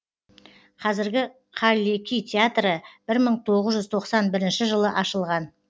қазіргі қаллеки театры бір мың тоғыз жүз тоқсан бірінші жылы ашылған